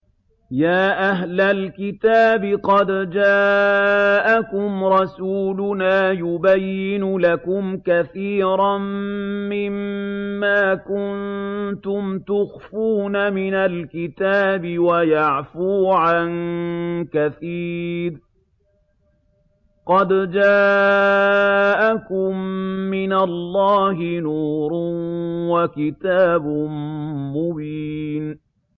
يَا أَهْلَ الْكِتَابِ قَدْ جَاءَكُمْ رَسُولُنَا يُبَيِّنُ لَكُمْ كَثِيرًا مِّمَّا كُنتُمْ تُخْفُونَ مِنَ الْكِتَابِ وَيَعْفُو عَن كَثِيرٍ ۚ قَدْ جَاءَكُم مِّنَ اللَّهِ نُورٌ وَكِتَابٌ مُّبِينٌ